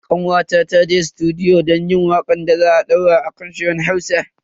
Kawata ta je sutudiyo don yin wakar da za a daura a kan shirin Hausan.